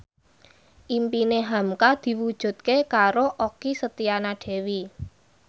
impine hamka diwujudke karo Okky Setiana Dewi